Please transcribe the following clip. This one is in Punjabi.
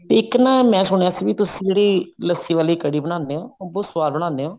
ਇੱਕ ਨਾ ਮੈਂ ਸੁਣਿਆ ਸੀ ਵੀ ਤੁਸੀਂ ਜਿਹੜੀ ਲੱਸੀ ਵਾਲੀ ਕੜ੍ਹੀ ਬਣਾਉਣੇ ਹੋ ਉਹ ਬਹੁਤ ਸਵਾਦ ਬਣਾਉਂਦੇ ਹੋ